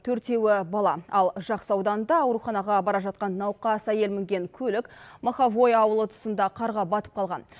төртеуі бала ал жақсы ауданында ауруханаға бара жатқан науқас әйел мінген көлік моховое ауылы тұсында қарға батып қалған